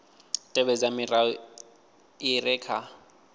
tevhedza milayo i re kha